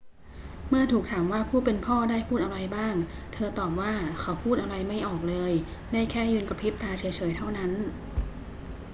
เมื่อถูกถามว่าผู้เป็นพ่อได้พูดอะไรบ้าง เธอตอบว่า เขาพูดอะไรไม่ออกเลย ได้แค่ยืนกระพริบตาเฉย ๆ เท่านั้น